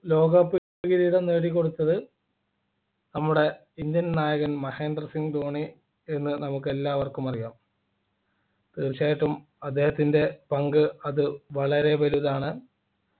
ലോകകപ്പ് കിരീടം നേടിക്കൊടുത്തത് നമ്മുടെ indian നായകൻ മഹേന്ദ്ര സിംഗ് ധോണി എന്ന് നമുക്ക് എല്ലാവർക്കും അറിയാം തീർച്ചയായിട്ടും അദ്ദേഹത്തിൻ്റെ പങ്ക് അത് വളരെ വലുതാണ്